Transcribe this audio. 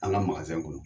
An ka kɔnɔ